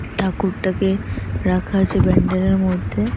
ঠাকুরটাকে রাখা আছে প্যান্ডেল এর মধ্যে।